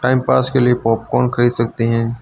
Timepass के लिए popcorn खरीद सकते हैं।